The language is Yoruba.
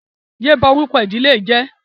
Yé bá orúkọ ìdílé yìí jẹ́!